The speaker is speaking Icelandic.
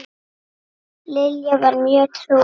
Lilla var mjög trúuð kona.